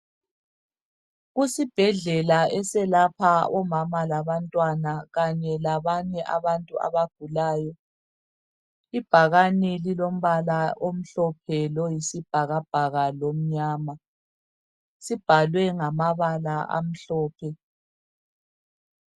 Kusibhedlela eselapha omama labantwana kanye labanye abantu abagulayo, ibhakane lilombala omhlophe loyisibhakabhaka lomnyama sibhalwe ngamabala amhlophe.